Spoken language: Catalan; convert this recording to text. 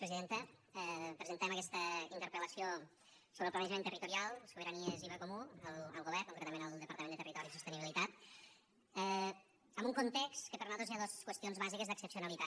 presentem aquesta interpel·lació sobre el planejament territorial sobiranies i bé comú al govern concretament al departament de territori i sostenibilitat en un context en què per nosaltres hi ha dos qüestions bàsiques d’excepcionalitat